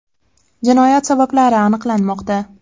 Jinoyat sabablari aniqlanmoqda.